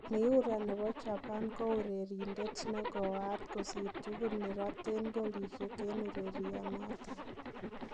Miura nebo Japan kourerindet negooat kosir tugul neroten golisiek en ureriunoton.